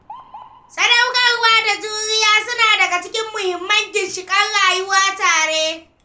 Sadaukarwa da juriya suna daga cikin muhimman ginshiƙan rayuwar tare.